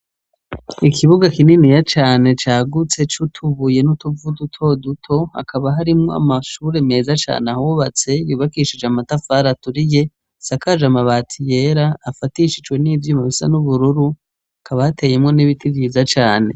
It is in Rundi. Ikibuga kininiya cane cagutse c'utubuye n'utuvu dutoduto hakaba harimw'amashure meza can'ahubatse yubakishij'amatafar'aturiye , isakaj'amabati yera afatishijwe n'ivyuma bisa n'ubururu hakaba hateyemwo n'ibiti vyiza cane